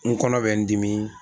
N kɔnɔ bɛ n dimi.